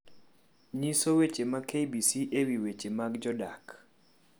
nyiso weche ma k. b. c. ewi weche mag jodak